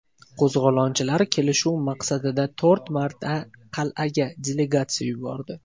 Qo‘zg‘olonchilar kelishuv maqsadida to‘rt marta qal’aga delegatsiya yubordi.